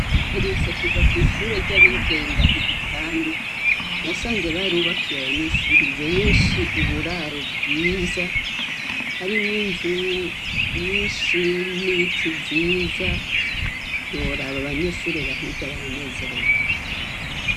Mperutse kuja kwishure ry'abigenga igitandu nasanze barubakiye abanyeshuri benshi uburaro bwiza harimwo inzu nyinshi n'ibiti byiza ntiworaba abanyeshure bahiga baranezerewe